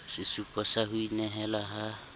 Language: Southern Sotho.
sesupo sa ho inehela ha